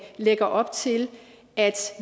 lægger op til at